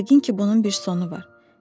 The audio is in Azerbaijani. Yəqin ki, bunun bir sonu var.